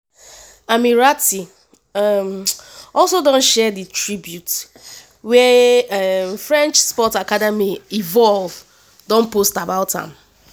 ammirati um also don share di tribute wia um french sports academy envol don post about am